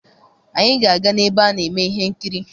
Anyị ga-aga n'ebe a na eme ihe nkiri.